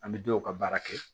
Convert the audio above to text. An bɛ dɔw ka baara kɛ